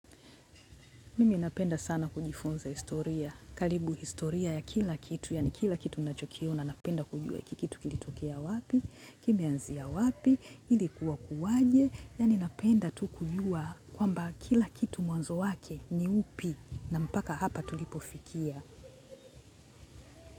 Mimi napenda sana kujifunza historia. Karibu historia ya kila kitu, yaani kila kitu ninachokiona napenda kujua hiki kitu kilitokea wapi, kimeanzia wapi, ilikuwa kuwaje, yaani napenda tu kujua kwamba kila kitu mwanzo wake ni upi na mpaka hapa tulipofikia.